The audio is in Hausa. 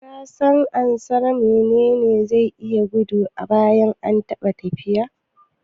Kasan ansar "Mene ne zai iya gudu amma baya taɓa tafiya"?